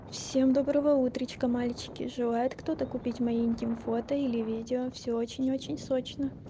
всем доброго утречка мальчики желают кто-то купить мои интим фото или видео всё очень-очень срочно